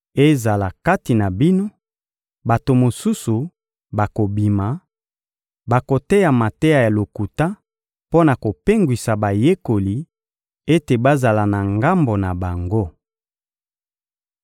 Ezala kati na bino, bato mosusu bakobima, bakoteya mateya ya lokuta mpo na kopengwisa bayekoli ete bazala na ngambo na bango.